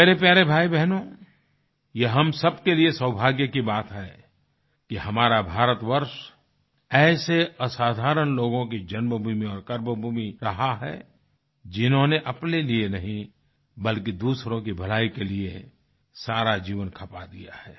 मेरे प्यारे भाइयो बहनो ये हम सब के लिए सौभाग्य की बात है कि हमारा भारतवर्ष ऐसे असाधारण लोगों की जन्मभूमि और कर्मभूमि रहा है जिन्होंने अपने लिए नहीं बल्कि दूसरों की भलाई के लिए सारा जीवन खपा दिया है